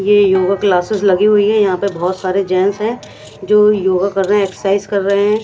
ये योगा क्लासेस लगी हुई है यहां पर बहुत सारे जेंस हैं जो योगा कर रहे हैं एक्सरसाइज कर रहे हैं।